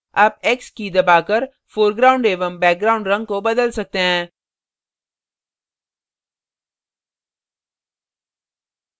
आप x की key दबाकर foreground एवं background रंग को बदल सकते हैं